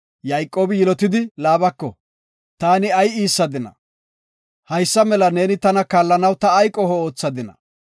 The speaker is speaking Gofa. Yayqoobi yilotidi Laabako, “Taani ay iissadina? Haysa neeni tana kaallanaw ta ay qoho oothadina?